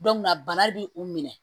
bana bi u minɛ